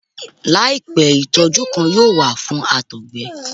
Laipẹ itọju kan yoo wa fun àtọgbẹ